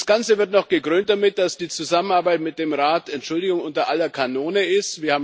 Das Ganze wird noch dadurch gekrönt, dass die Zusammenarbeit mit dem Rat Entschuldigung unter aller Kanone ist.